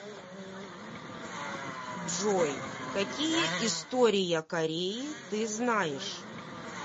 джой какие история кореи ты знаешь